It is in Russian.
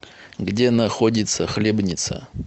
где находится хлебница